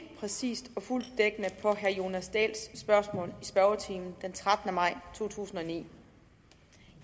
præcist og fuldt dækkende på herre jonas dahls spørgsmål i spørgetimen den trettende maj to tusind og ni